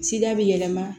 Sida bɛ yɛlɛma